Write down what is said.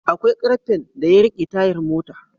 Akwai karfen da yarike tayar mota